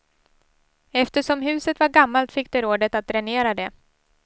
Eftersom huset var gammalt fick de rådet att dränera det.